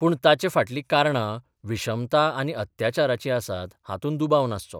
पूण ताचे फाटलीं कारणां विशमता आनी अत्याचाराचीं आसात हातूंत दुबाव नासचो.